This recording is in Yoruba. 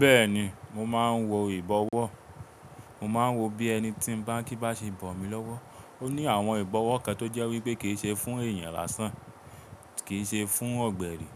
Bẹ́ẹ̀ni mo máa ń wo ìbọwọ́. Mo máa ń wo bí ẹni tí ń bá kí bá ṣe bọ̀ mí lọ́wọ́. Ó ní àwọn ìbọwọ́ kan tó jẹ́ wípé kì í ṣe fún èèyàn lásán, kì í ṣe fún ọ̀gbẹ̀rì,